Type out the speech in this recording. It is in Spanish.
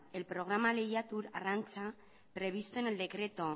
el programa lehiatu arrantza previsto en el decreto